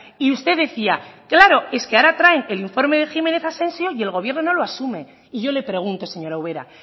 y usted decía claro es que ahora traen el informe de jiménez asencio y el gobierno no lo asume y yo le pregunto señora ubera